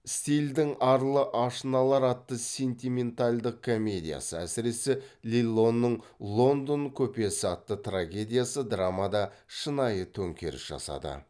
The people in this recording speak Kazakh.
стилдің арлы ашыналар атты сентиментальдық комедиясы әсіресе лиллоның лондон көпесі атты трагедиясы драмада шынайы төңкеріс жасады